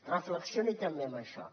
reflexioni també en això